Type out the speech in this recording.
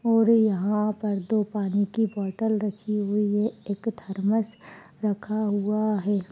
और यहाँ पर दो पानी की बोतल रखी हुई है एक थर्मस रखा हुआ है।